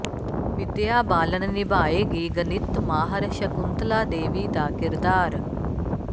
ਵਿਦਿਆ ਬਾਲਨ ਨਿਭਾਏਗੀ ਗਣਿਤ ਮਾਹਰ ਸ਼ੰਕੁਤਲਾ ਦੇਵੀ ਦਾ ਕਿਰਦਾਰ